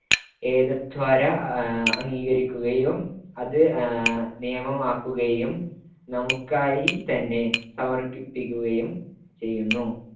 ഏതദ്ദ്വാരാ അംഗീകരിക്കുകയും അത് ആഹ് നിയമമാക്കുകയും നമുക്കായിത്തന്നെ സമർപ്പിക്കുകയും ചെയ്യുന്നു.